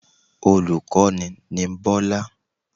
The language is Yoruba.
Olùkọ́ni ni Bọ́lá